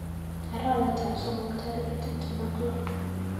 Arawetap somok tarik tuptem ak loo.